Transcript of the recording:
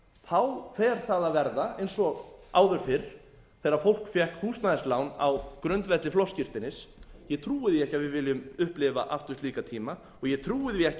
þá fer það að verða eins og áður fyrr þegar fólk fékk húsnæðislán á grundvelli flokksskírteinis ég trúi því ekki að við viljum upplifa aftur slíka tíma og ég trúi því ekki fyrr en ég